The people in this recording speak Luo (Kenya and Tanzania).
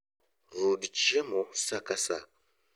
Rud chiemo saa ka saa